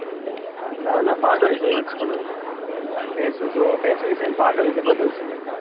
નાં પાડો ય ની સંભાળ્યો ભેશો ય છે ને પાડોય છે બધું જ છે.